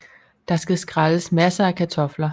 Der skal skrælles masser af kartofler